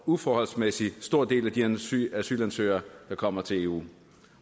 uforholdsmæssig stor del af de asylansøgere der kommer til eu